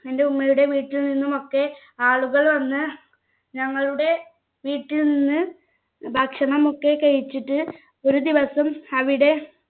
ൻ്റെ ഉമ്മയുടെ വീട്ടിൽ നിന്നുമൊക്കെ ആളുകൾ വന്ന് ഞങ്ങളുടെ വീട്ടിൽ നിന്ന് ഭക്ഷണം ഒക്കെ കഴിച്ചിട്ട് ഒരു ദിവസം അവിടെ